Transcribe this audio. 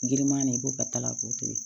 Giriman nin i b'o ka kala k'o tobi